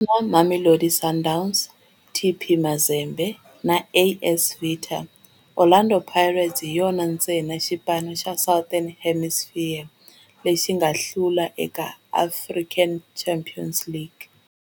Na Mamelodi Sundowns, TP Mazembe na AS Vita, Orlando Pirates hi yona ntsena xipano xa Southern Hemisphere lexi nga hlula eka African Champions League.